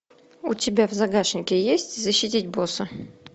у тебя в загашнике есть защитить босса